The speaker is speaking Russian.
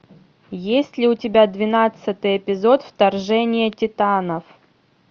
есть ли у тебя двенадцатый эпизод вторжение титанов